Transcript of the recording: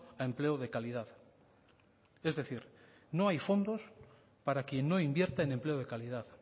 a empleo de calidad es decir no hay fondos para quien no invierte en empleo de calidad